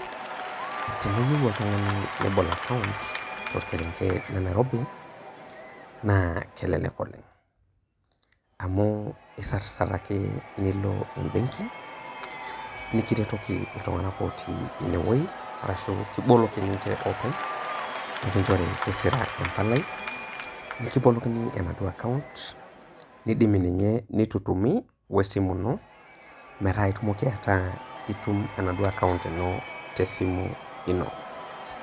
Teneyieu oltungani nebol account torkerenget le nairobi naa kelelek oleng amu isarsar ake nilo embenki, nikiretoki iltunganak otii ine wuei arashu kiboloki ninche openy, nikinchori tisira empalai , nidimi ninye nitutumi we esimu ino metaa itumoki ataa itum enaduo account ino te esimu ino.